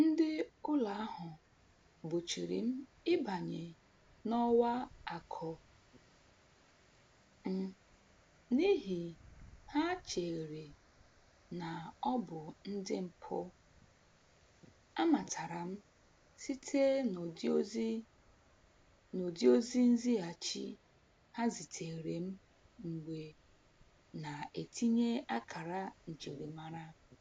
Ndị ụlọ ahụ gbochiri m ịbanye n'ọwa akụ m n'ihi ha cheere na ọ bụ ndị mpụ, amatara m site n'ụdị ozi n'ụdị ozi nzighachi ha ziteere m mgbe na-etinye akara njirimara